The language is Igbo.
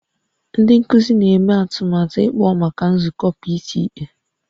Ndị nkuzi na-eme atụmatụ ịkpọ maka nzukọ PTA